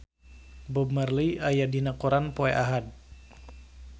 Bob Marley aya dina koran poe Ahad